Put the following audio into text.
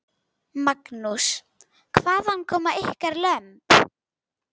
Magnús: Hvaðan koma ykkar lömb?